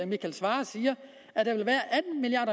michael svarer siger at der vil være